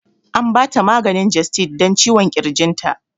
An ba ta maganin gestid dan ciwon ƙirginta